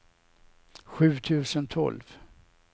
sju tusen tolv